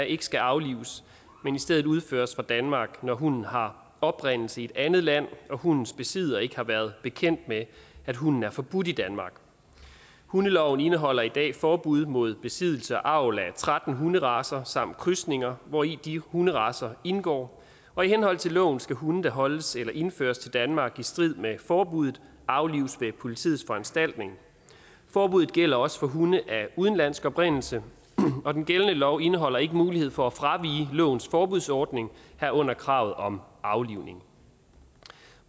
ikke skal aflives men i stedet udføres fra danmark når hunden har oprindelse i et andet land og hundens besidder ikke har været bekendt med at hunden er forbudt i danmark hundeloven indeholder i dag forbud mod besiddelse og avl af tretten hunderacer samt krydsninger hvori de hunderacer indgår og i henhold til loven skal hunde der holdes eller indføres til danmark i strid med forbuddet aflives ved politiets foranstaltning forbuddet gælder også for hunde af udenlandsk oprindelse og den gældende lov indeholder ikke mulighed for at fravige lovens forbudsordning herunder kravet om aflivning